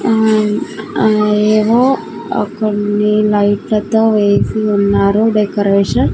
ఆ ఆ ఏవో ఓ కొన్ని లైట్ లతో వేసి ఉన్నారు డెకరేషన్ .